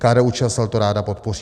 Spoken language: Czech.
KDU-ČSL to ráda podpoří.